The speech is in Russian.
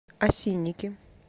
осинники